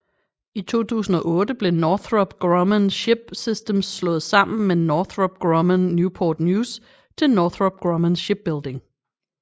I 2008 blev Northrop Grumman Ship Systems slået sammen med Northrop Grumman Newport News til Northrop Grumman Shipbuilding